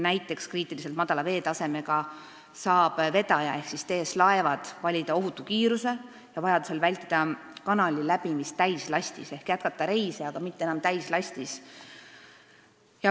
Näiteks, kriitiliselt madala veetasemega saab vedaja TS Laevad valida ohutu kiiruse ja vajaduse korral vältida kanali läbimist täislastis, st jätkata reise, aga mitte enam täislastis.